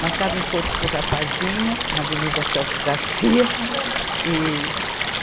Marcava encontro com o rapazinho, na Avenida Celso Garcia. Aham. E